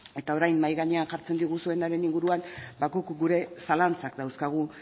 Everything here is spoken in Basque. eta orain mahai gainean jartzen diguzuenaren inguruan ba guk gure zalantzak dauzkagu